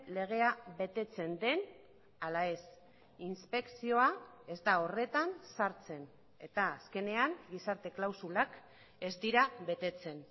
legea betetzen den ala ez inspekzioa ez da horretan sartzen eta azkenean gizarte klausulak ez dira betetzen